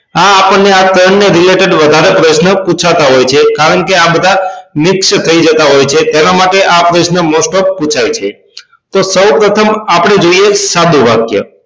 આ આપણને આ ત્રણ ના Related વધારે પ્રશ્ન પૂછાતા હોય છે કારણ કે આ બધા મિક્સ થાય જતાં હોય છે તેના માટે આ પ્રશ્ન most of પુછાય છે તો સૌપ્રથમ આપણે જોઈએ સાદું વાક્ય